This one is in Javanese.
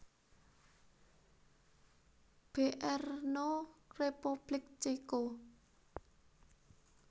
Brno Republik Ceko